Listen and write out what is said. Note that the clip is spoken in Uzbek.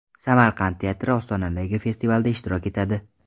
Samarqand teatri Ostonadagi festivalda ishtirok etadi.